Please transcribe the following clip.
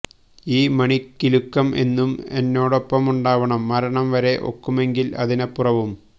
ഈ മണികിലുക്കം എന്നും എന്നോടൊപ്പമുണ്ടാവണം മരണം വരെ ഒക്കുമെങ്കിൽ അതിനപ്പുറവും